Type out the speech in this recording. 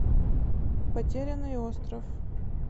потерянный остров